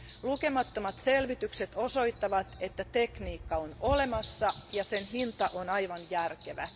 Lukemattomat selvitykset osoittavat, että tekniikka on olemassa ja sen hinta on aivan järkevä.